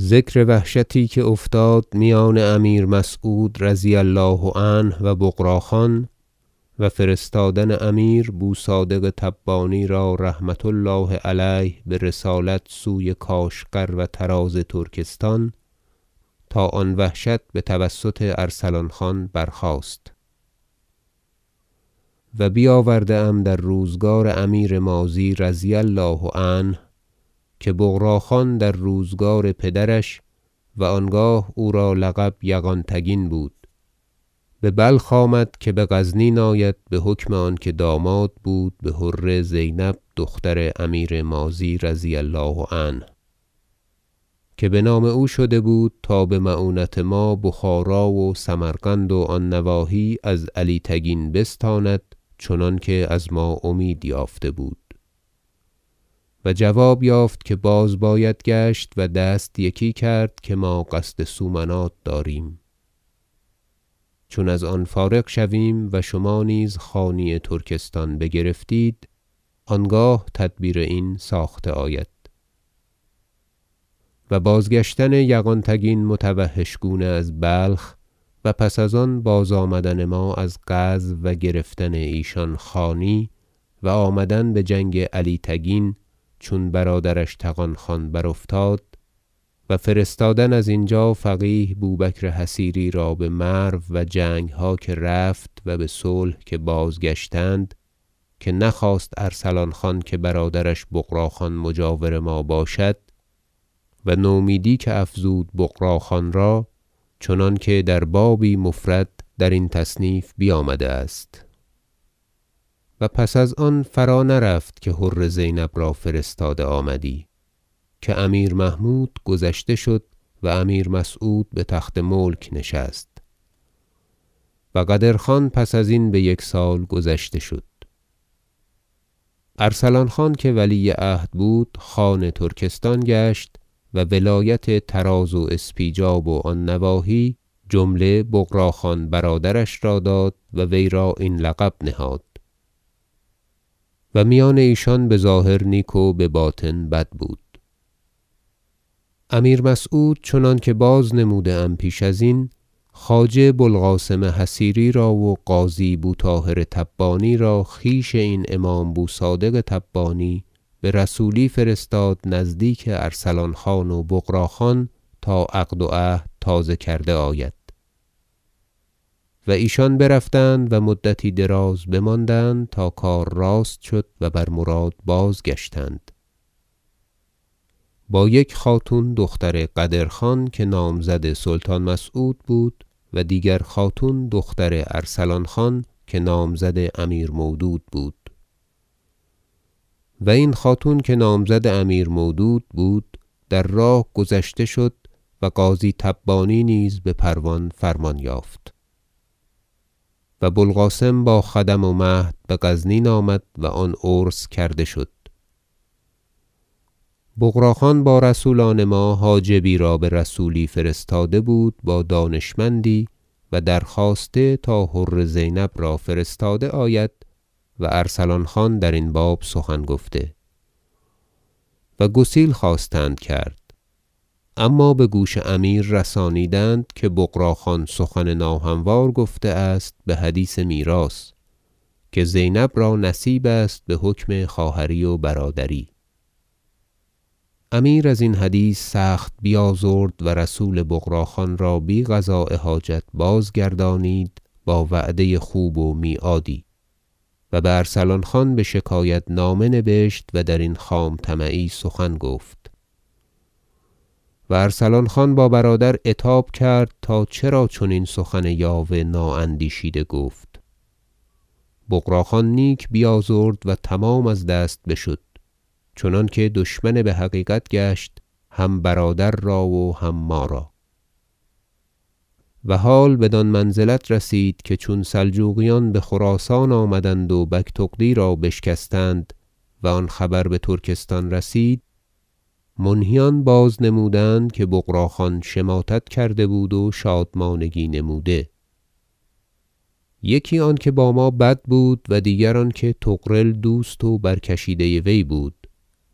ذکر وحشتی که افتاد میان امیر مسعود رضی الله عنه و بغراخان و فرستادن امیر بوصادق تبانی را رحمة الله علیه برسالت سوی کاشغر و طراز ترکستان تا آن وحشت بتوسط ارسلان خان برخاست و بیاورده ام در روزگار امیر ماضی رضی الله عنه که بغراخان در روزگار پدرش- و آنگاه او را لقب یغان تگین بود- ببلخ آمد که بغزنین آید بحکم آنکه داماد بود بحره زینب دختر امیر ماضی رضی الله عنه که بنام او شده بود تا بمعونت ما بخارا و سمرقند و آن نواحی از علی تگین بستاند چنانکه از ما امید یافته بود و جواب یافت که باز باید گشت و دست یکی کرد که ما قصد سومنات داریم چون از آن فارغ شویم و شما نیز خانی ترکستان بگرفتید آنگاه تدبیر این ساخته آید و باز- گشتن یغان تگین متوحش گونه از بلخ و پس از آن بازآمدن ما از غزو و گرفتن ایشان خانی و آمدن بجنگ علی تگین چون برادرش طغان خان برافتاد و فرستادن از اینجا فقیه بوبکر حصیری را بمرو و جنگها که رفت و بصلح که بازگشتند که نخواست ارسلان خان که برادرش بغراخان مجاور ما باشد و نومیدی که افزود بغراخان را چنانکه در بابی مفرد درین تصنیف بیامده است و پس از آن فرانرفت که حره زینب را فرستاده آمدی که امیر محمود گذشته شد و امیر مسعود بتخت ملک نشست و قدر- خان پس ازین بیک سال گذشته شد ارسلان خان که ولی عهد بود خان ترکستان گشت و ولایت طراز و اسپیجاب و آن نواحی جمله بغراخان برادرش را داد و وی را این لقب نهاد و میان ایشان بظاهر نیک و بباطن بد بود امیر مسعود چنانکه بازنموده ام پیش از این خواجه ابو القاسم حصیری را و قاضی بو طاهر تبانی را خویش این امام بوصادق تبانی برسولی فرستاد نزدیک ارسلان- خان و بغراخان تا عقد و عهد تازه کرده آید و ایشان برفتند و مدتی دراز بماندند تا کار راست شد و بر مراد بازگشتند با یک خاتون دختر قدرخان که نامزد سلطان مسعود بود و دیگر خاتون دختر ارسلان خان که نامزد امیر مودود بود و این خاتون که نامزد امیر مودود بود در راه گذشته شد و قاضی تبانی نیز بپروان فرمان یافت و بو القاسم با خدم و مهد بغزنین آمد و آن عرس کرده شد بغراخان با رسولان ما حاجبی را برسولی فرستاده بود با دانشمندی و درخواسته تا حره زینب را فرستاده آید و ارسلان خان درین باب سخن گفته و گسیل خواستند کرد اما بگوش امیر رسانیدند که بغراخان سخن ناهموار گفته است بحدیث میراث که زینب را نصیب است بحکم خواهری و برادری امیر ازین حدیث سخت بیازرد و رسول بغراخان را بی قضاء حاجت بازگردانید با وعده خوب و میعادی و بارسلان خان بشکایت نامه نبشت و درین خام طمعی سخن گفت و ارسلان خان با برادر عتاب کرد تا چرا چنین سخن یاوه نااندیشیده گفت بغرا خان نیک بیازرد و تمام از دست بشد چنانکه دشمن بحقیقت گشت هم برادر را و هم ما را و حال بدان منزلت رسید که چون سلجوقیان بخراسان آمدند و بگتغدی را بشکستند و آن خبر بترکستان رسید منهیان بازنمودند که بغراخان شماتت کرده بود و شادمانگی نموده یکی آنکه با ما بد بود و دیگر آنکه طغرل دوست و برکشیده وی بود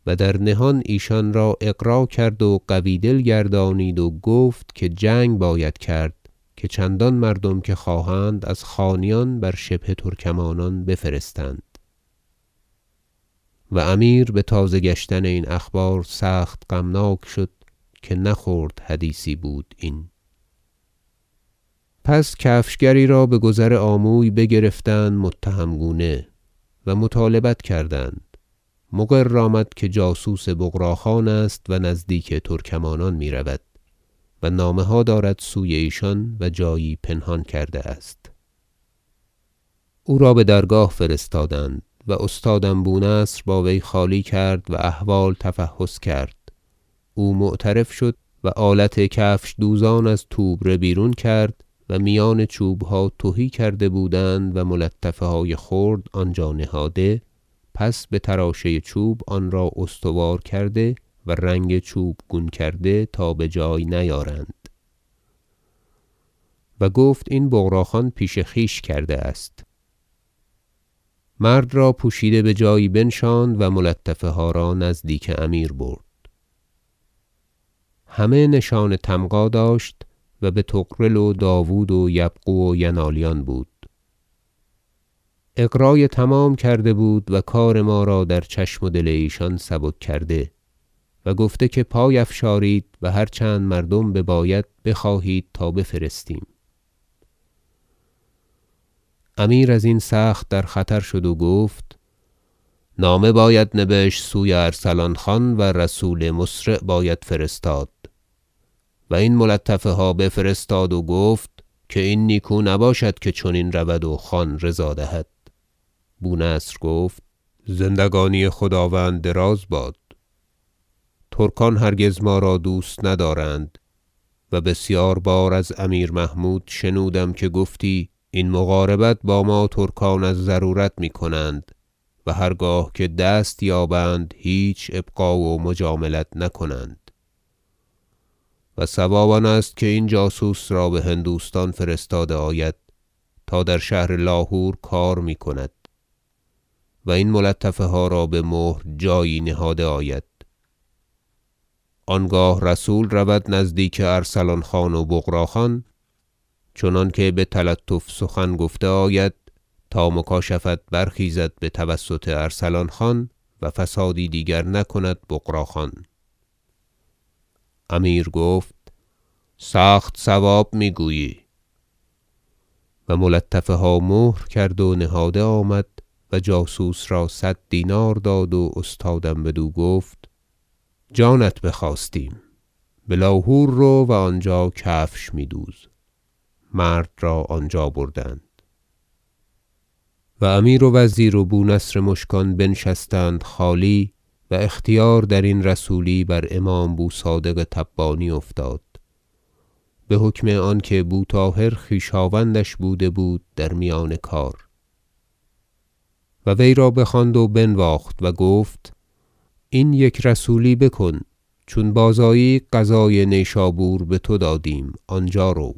و در نهان ایشان را اغرا کرد و قوی دل گردانید و گفت که جنگ باید کرد که چندان مردم که خواهند از خانیان بر شبه ترکمانان بفرستند و امیر بتازه گشتن این اخبار سخت غمناک شد که نه خرد حدیثی بود این پس کفشگری را بگذر آموی بگرفتند متهم گونه و مطالبت کردند مقر آمد که جاسوس بغراخان است و نزدیک ترکمانان میرود و نامه ها دارد سوی ایشان و جایی پنهان کرده است او را بدرگاه فرستادند و استادم بونصر با وی خالی کرد و احوال تفحص کرد او معترف شد و آلت کفشدوزان از توبره بیرون کرد و میان چوبها تهی کرده بودند و ملطفه های خرد آنجا نهاده پس بتراشه چوب آنرا استوار کرده و رنگ چوب گون کرده تا بجای نیارند و گفت این بغرا خان پیش خویش کرده است مرد را پوشیده بجایی بنشاند و ملطفه ها را نزدیک امیر برد همه نشان طمغا داشت و بطغرل و داود و یبغو و ینالیان بود اغرای تمام کرده بود و کار ما را در چشم و دل ایشان سبک کرده و گفته که پای افشارید و هر چند مردم بباید بخواهید تا بفرستیم امیر از این سخت در خطر شد و گفت نامه باید نبشت سوی ارسلان خان و رسول مسرع باید فرستاد و این ملطفه ها بفرستاد و گفت که این نیکو نباشد که چنین رود و خان رضا دهد بونصر گفت زندگانی خداوند دراز باد ترکان هرگز ما را دوست ندارند و بسیار بار از امیر محمود شنودم که گفتی این مقاربت با ما ترکان از ضرورت میکنند و هرگاه که دست یابند هیچ ابقاء و مجاملت نکنند و صواب آنست که این جاسوس را بهندوستان فرستاده آید تا در شهر لاهور کار میکند و این ملطفه ها را بمهر جایی نهاده آید آنگاه رسول رود نزدیک ارسلان خان و بغرا خان چنانکه بتلطف سخن گفته آید تا مکاشفت برخیزد بتوسط ارسلان خان و فسادی دیگر نکند بغراخان امیر گفت سخت صواب میگویی و ملطفه ها مهر کرد و نهاده آمد و جاسوس را صد دینار داد و استادم بدو گفت جانت بخواستیم بلوهور رو و آنجا کفش می دوز مرد را آنجا بردند و امیر و وزیر و بونصر مشکان بنشستند خالی و اختیار درین رسولی بر امام بوصادق تبانی افتاد بحکم آنکه بوطاهر خویشاوندش بوده بود در میان کار و وی را بخواند و بنواخت و گفت این یک رسولی بکن چون بازآیی قضای نشابور بتو دادیم آنجا رو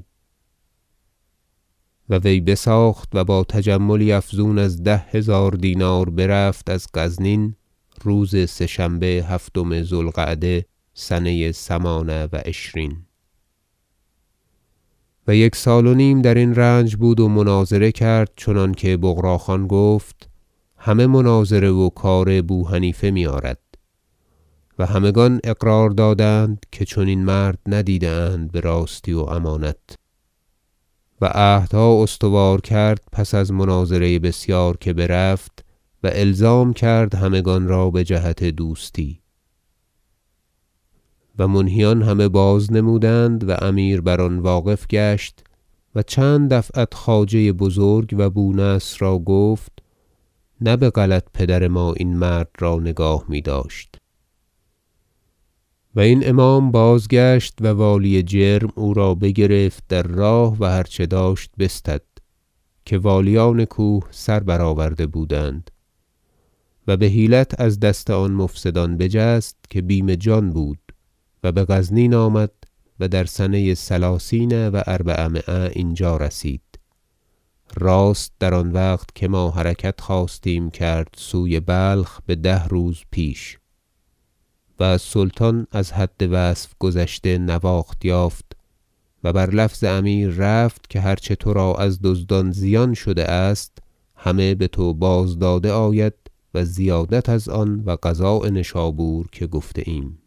و وی بساخت و با تجملی افزون از ده هزار دینار برفت از غزنین روز سه شنبه هفتم ذو القعده سنه ثمان و عشرین و یک سال و نیم درین رنج بود و مناظره کرد چنانکه بغراخان گفت همه مناظره و کار بوحنیفه میآرد و همگان اقرار دادند که چنین مرد ندیده اند براستی و امانت و عهدها استوار کرد پس از مناظره بسیار که رفت و الزام کرد همگان را بجهت دوستی و منهیان همه بازنمودند و امیر بر آن واقف گشت و چند دفعت خواجه بزرگ و بونصر را گفت نه بغلط پدر ما این مرد را نگاه میداشت و این امام بازگشت و والی جرم او را بگرفت در راه و هر چه داشت بستد که والیان کوه سر برآورده بودند و بحیلت از دست آن مفسدان بجست که بیم جان بود و بغزنین آمد و در سنه ثلثین و اربعمایه اینجا رسید راست در آن وقت که ما حرکت خواستیم کرد سوی بلخ بده روز پیش و از سلطان از حد وصف گذشته نواخت یافت و بر لفظ امیر رفت که هر چه ترا از دزدان زیان شده است همه بتو باز داده آید و زیادت از آن و قضاء نشابور که گفته ایم